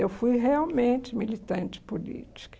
Eu fui realmente militante política.